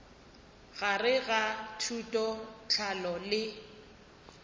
gare ga thuto tlhahlo le